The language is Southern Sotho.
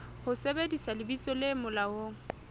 ho sebedisa lebitso le molaong